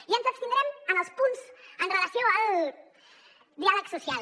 i ens abstindrem en els punts amb relació al diàleg social